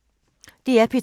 DR P2